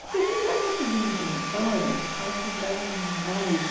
Porque a gente já conseguiu muitas vitórias ajudamos demais.